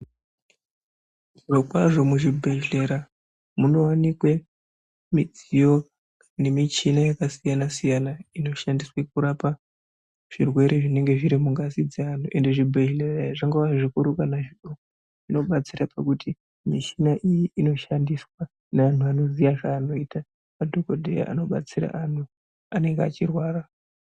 Zvirokwazvo muzvibhedhlera munowanikwe mudziyo nechina yakasiyana siyana inoshandiswe kurapa zvirwere zvinenge zviri mungazi dzeantu ende zvibhedhlera izvi zvingabe zvikuru pane zvidoko zvibatsira pakuti mishina iyi inoshandiswe nevanhu anoziya zvaanoita madhokodheya anobatsira anhu anenge achirwara.